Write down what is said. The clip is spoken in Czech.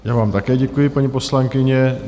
Já vám také děkuji, paní poslankyně.